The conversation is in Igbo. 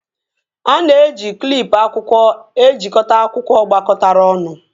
A na-eji klịp akwụkwọ ejikọta akwụkwọ gbakọtara ọnụ